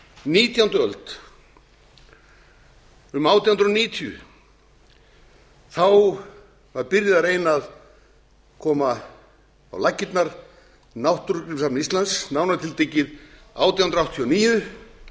nítjándu öld um átján hundruð níutíu var byrjað að reyna að koma á laggirnar náttúrugripasafni íslands nánar tiltekið átján hundruð áttatíu